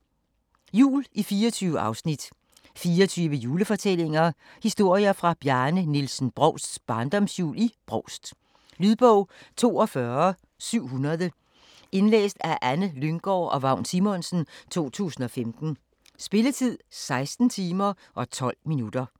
Jul i 24 afsnit 24 julefortællinger: Historier fra Bjarne Nielsen Brovsts barndomsjul i Brovst. Lydbog 42700 Indlæst af Anne Lynggård og Vagn Simonsen, 2015. Spilletid: 16 timer, 12 minutter.